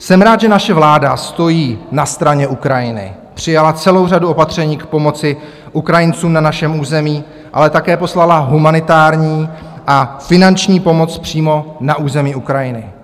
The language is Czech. Jsem rád, že naše vláda stojí na straně Ukrajiny, přijala celou řadu opatření k pomoci Ukrajincům na našem území, ale také poslala humanitární a finanční pomoc přímo na území Ukrajiny.